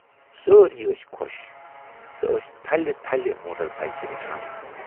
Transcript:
سٲری ٲسۍ خۅش تہٕ ٲسۍ تھلہِ تھلہِ موٹر بایِکہِ وُچھان۔